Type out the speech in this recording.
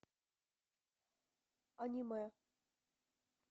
аниме